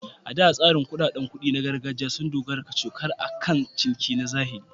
A da, tsarin kuɗaɗen kuɗi na gargajiya sun dogara kacokan akan ciniki na zahiri.